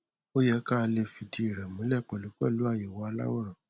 ó yẹ kí a lè fìdíi rẹ múlẹ pẹlú pẹlú àyẹwò aláwòrán